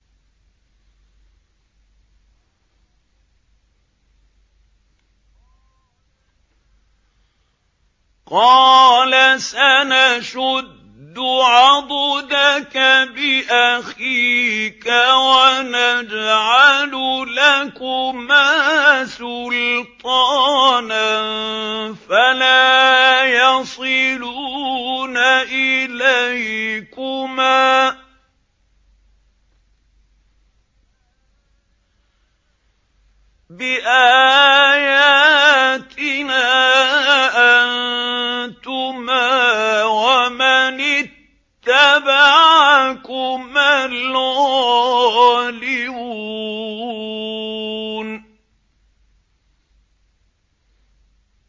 قَالَ سَنَشُدُّ عَضُدَكَ بِأَخِيكَ وَنَجْعَلُ لَكُمَا سُلْطَانًا فَلَا يَصِلُونَ إِلَيْكُمَا ۚ بِآيَاتِنَا أَنتُمَا وَمَنِ اتَّبَعَكُمَا الْغَالِبُونَ